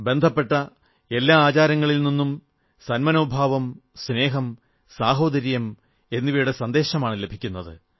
ബന്ധപ്പെട്ട എല്ലാ ആചാരങ്ങളിൽ നിന്നും സന്മനോഭാവം സ്നേഹം സാഹോദര്യം എന്നിവയുടെ സന്ദേശമാണു ലഭിക്കുന്നത്